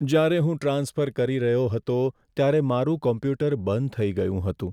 જ્યારે હું ટ્રાન્સફર કરી રહ્યો હતો ત્યારે મારું કોમ્પ્યુટર બંધ થઈ ગયું હતું.